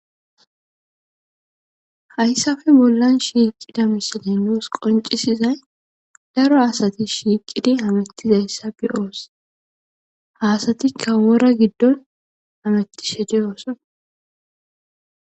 Hayssafe bollan shiiqida misiley nuus qoncisizay daro asati shiiqidi hamettizayssa be'oos hasatikka wora giddon hametti shedeyoosson.